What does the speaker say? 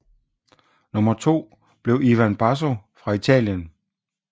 Nummer to blev Ivan Basso fra Italien